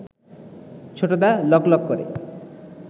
ছোটদা লকলক করে